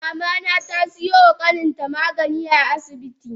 Mamana tasiyoma kaninta magani a asibi.